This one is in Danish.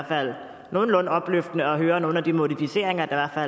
fald nogenlunde opløftende at høre nogle af de modificeringer der er